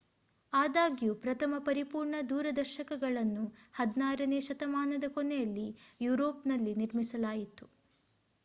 ಆದಾಗ್ಯೂ ಪ್ರಥಮ ಪರಿಪೂರ್ಣ ದೂರದರ್ಶಕಗಳನ್ನು 16ನೇ ಶತಮಾನದ ಕೊನೆಯಲ್ಲಿ ಯೂರೋಪ್‌ನಲ್ಲಿ ನಿರ್ಮಿಸಲಾಯಿತು